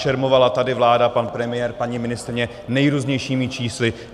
Šermovala tady vláda, pan premiér, paní ministryně, nejrůznějšími čísly.